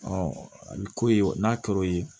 a bɛ k'o ye n'a kɛr'o ye